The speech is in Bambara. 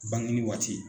Bange waati